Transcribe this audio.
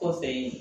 Kɔfɛ